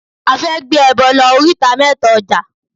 A fẹ́ gbé ẹbọ lọ oríta mẹ́ta ọjà.